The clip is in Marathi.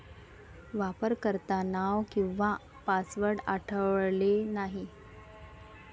वापरकर्तानाव किंवा पासवर्ड आढळले नाही